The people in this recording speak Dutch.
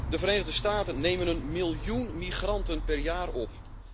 De Verenigde Staten nemen een miljoen migranten per jaar op.